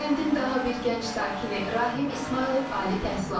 Kəndin daha bir gənc sakini Rahim İsmayılov ali təhsil alıb.